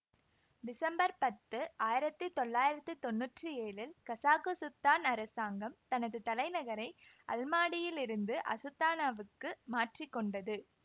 December பத்து ஆயிரத்தி தொள்ளாயிரத்தி தொன்னூற்றி ஏழில் கசாக்குசுத்தான் அரசாங்கம் தனது தலைநகரை அல்மாடியிலிருந்து அசுதானாவுக்கு மாற்றிக்கொண்டது